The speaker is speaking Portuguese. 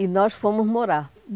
E nós fomos morar.